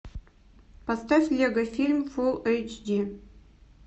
поставь лего фильм фулл эйч ди